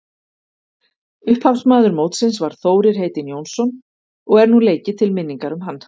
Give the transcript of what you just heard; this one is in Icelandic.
Upphafsmaður mótsins var Þórir heitinn Jónsson og er nú leikið til minningar um hann.